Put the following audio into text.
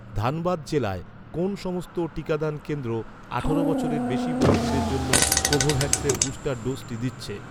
ধানবাদ জেলায়, কোন সমস্ত টিকাদান কেন্দ্র, আঠারো বছরের বেশি বয়সিদের জন্য কোভোভ্যাক্সের বুস্টার ডোজ়টি দিচ্ছে?